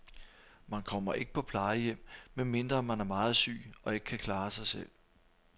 Man kommer ikke på plejehjem, medmindre man er meget syg og ikke kan klare sig selv.